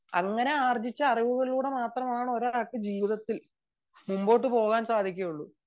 അങ്ങനെ ആർജ്ജിച്ച അറിവ് കൊണ്ട് മാത്രമേ ഒരാൾക്ക് ജീവിതത്തിൽ മുന്നോട്ട് പോവാൻ സാധിക്കുകയുള്ളൂ